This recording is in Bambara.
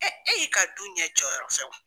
e y'i ka du ɲɛjɔyɔrɔ fɛ wa?